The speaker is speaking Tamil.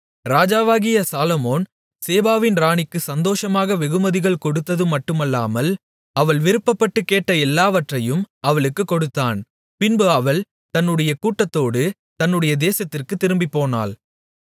ராஜாவாகிய சாலொமோன் சேபாவின் ராணிக்கு சந்தோஷமாக வெகுமதிகள் கொடுத்ததுமட்டுமல்லாமல் அவள் விருப்பப்பட்டுக் கேட்ட எல்லாவற்றையும் அவளுக்குக் கொடுத்தான் பின்பு அவள் தன்னுடைய கூட்டத்தோடு தன்னுடைய தேசத்திற்குத் திரும்பிப்போனாள்